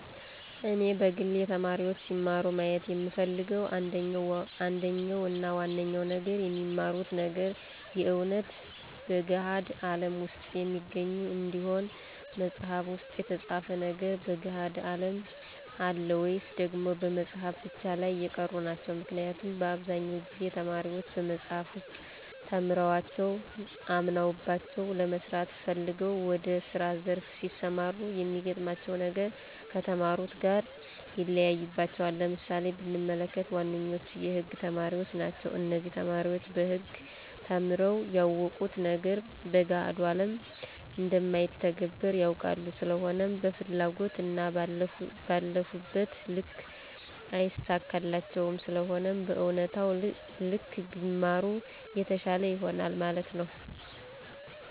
እኔ በግሌ ተማሪዎች ሲማሩ ማየት የምፈልገው አንደኛው እና ዋነኛው ነገር የሚማሩት ነገር የእውነት በገሀድ አለም ውስጥ የሚገኝ እንዲሆን መፅሃፍ ውስጥ የተፃፉ ነገሮች በገሀዱ አለም አሉ ወይስ ደግሞ በመፅሃፉ ብቻ ላይ የቀሩ ናቸው? ምክንያቱም በአብዛኛው ጊዜ ተማሪዎች በመፅሐፍ ውስጥ ተምረዋቸው አምነውባቸው ለመስራት ፈልገው ወደ ስራ ዘርፍ ሲሰማሩ የሚገጥማቸው ነገር ከተማሩት ጋር ይለያይባቸዋል። ለምሳሌ ብንመለከት ዋነኞቹ የህግ ተማሪዎች ናቸው እነዚህ ተማሪዎች በህግ ተምረው ያወቁት ነገር በገሀድ ላይ እንደማይተገበር ያውቃሉ ስለሆነም በፈለጉት እና ባለፉበት ልክ አይሳካላቸውም ስለሆነም በእውነታው ልክ ቢማሩ የተሻለ ይሆናል ማለት ነው